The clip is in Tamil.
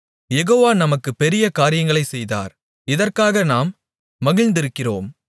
யெகோவா நமக்குப் பெரிய காரியங்களைச் செய்தார் இதற்காக நாம் மகிழ்ந்திருக்கிறோம்